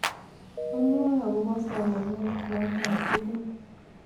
amwae agoba somanet noto tugul